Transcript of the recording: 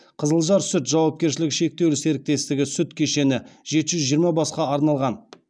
қызылжар сүт жауапкершілігі шектеулі серіктестігі сүт кешені жеті жүз жиырма басқа арналған